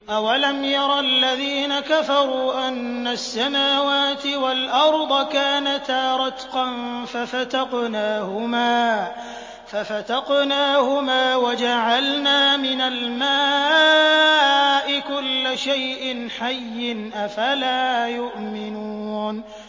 أَوَلَمْ يَرَ الَّذِينَ كَفَرُوا أَنَّ السَّمَاوَاتِ وَالْأَرْضَ كَانَتَا رَتْقًا فَفَتَقْنَاهُمَا ۖ وَجَعَلْنَا مِنَ الْمَاءِ كُلَّ شَيْءٍ حَيٍّ ۖ أَفَلَا يُؤْمِنُونَ